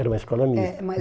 Era uma escola mista. É mas